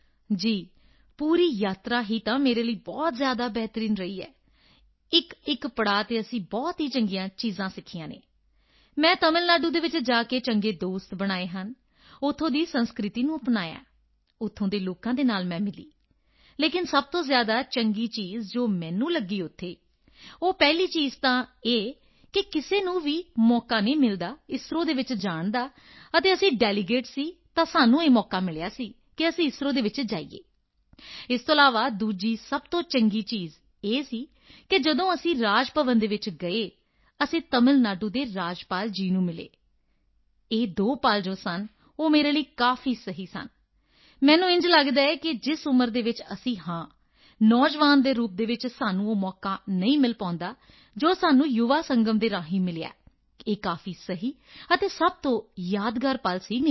ਜੀ ਪੂਰੀ ਯਾਤਰਾ ਹੀ ਤਾਂ ਮੇਰੇ ਲਈ ਬਹੁਤ ਹੀ ਜ਼ਿਆਦਾ ਬਿਹਤਰੀਨ ਰਹੀ ਹੈ ਇੱਕਇੱਕ ਪੜਾਅ ਤੇ ਅਸੀਂ ਬਹੁਤ ਹੀ ਚੰਗੀਆਂ ਚੀਜ਼ਾਂ ਸਿੱਖੀਆਂ ਹਨ ਮੈਂ ਤਮਿਲ ਨਾਡੂ ਚ ਜਾ ਕੇ ਚੰਗੇ ਦੋਸਤ ਬਣਾਏ ਹਨ ਉੱਥੋਂ ਦੀ ਸੰਸਕ੍ਰਿਤੀ ਨੂੰ ਅਪਣਾਇਆ ਹੈ ਉੱਥੋਂ ਦੇ ਲੋਕਾਂ ਨਾਲ ਮੈਂ ਮਿਲੀ ਲੇਕਿਨ ਸਭ ਤੋਂ ਜ਼ਿਆਦਾ ਚੰਗੀ ਚੀਜ਼ ਜੋ ਮੈਨੂੰ ਲਗੀ ਉੱਥੇ ਉਹ ਪਹਿਲੀ ਚੀਜ਼ ਤਾਂ ਇਹ ਕਿ ਕਿਸੇ ਨੂੰ ਵੀ ਮੌਕਾ ਨਹੀਂ ਮਿਲਦਾ ਇਸਰੋ ਵਿਚ ਜਾਣ ਦਾ ਅਤੇ ਅਸੀਂ ਡੈਲੀਗੇਟਸ ਸੀ ਤਾਂ ਸਾਨੂੰ ਇਹ ਮੌਕਾ ਮਿਲਿਆ ਸੀ ਕਿ ਅਸੀਂ ਇਸਰੋ ਵਿੱਚ ਜਾਈਏ ਇਸ ਤੋਂ ਇਲਾਵਾ ਦੂਸਰੀ ਸਭ ਤੋਂ ਚੰਗੀ ਗੱਲ ਇਹ ਸੀ ਕਿ ਜਦੋਂ ਅਸੀਂ ਰਾਜ ਭਵਨ ਵਿੱਚ ਗਏ ਅਤੇ ਅਸੀਂ ਤਮਿਲ ਨਾਡੂ ਦੇ ਰਾਜਪਾਲ ਜੀ ਨੂੰ ਮਿਲੇ ਇਹ ਦੋ ਪਲ ਜੋ ਸਨ ਉਹ ਮੇਰੇ ਲਈ ਕਾਫੀ ਸਹੀ ਸਨ ਮੈਨੂੰ ਇੰਝ ਲਗਦਾ ਹੈ ਕਿ ਜਿਸ ਉਮਰ ਵਿੱਚ ਅਸੀਂ ਹਾਂ ਨੌਜਵਾਨ ਦੇ ਰੂਪ ਵਿੱਚ ਸਾਨੂੰ ਉਹ ਮੌਕਾ ਨਹੀਂ ਮਿਲ ਪਾਉਂਦਾ ਜੋ ਸਾਨੂੰ ਯੁਵਾ ਸੰਗਮ ਦੇ ਰਾਹੀਂ ਮਿਲਿਆ ਹੈ ਇਹ ਕਾਫੀ ਸਹੀ ਅਤੇ ਸਭ ਤੋਂ ਯਾਦਗਾਰ ਪਲ ਸੀ ਮੇਰੇ ਲਈ